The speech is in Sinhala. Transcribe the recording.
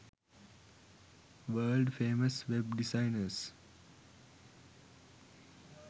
world famous web designers